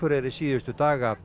og